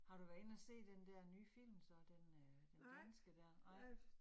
Har du været inde og se den der nye film så, den øh den danske dér